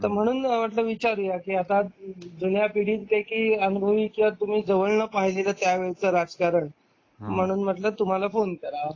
तर म्हणून म्हटलं विचारूया ते की जुन्या पिढी पैकी अनुभव तुम्ही जवळन पाहिलेल त्यावेळच राजकारण म्हणून म्हंटल तुम्हाला फोन कराव